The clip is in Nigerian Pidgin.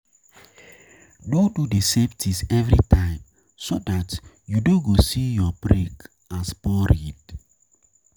No do the same thing every time so dat you no go see your break as boring